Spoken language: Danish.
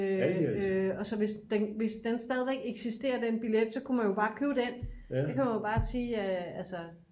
og så hvis hvis den stadigvæk eksisterer den billet så kunne man bare købe den der kan man jo bare sige altså